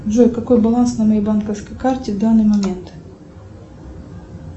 джой какой баланс на моей банковской карте в данный момент